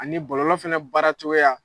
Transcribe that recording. Ani bɔlɔlɔ fɛnɛ baara cogoya.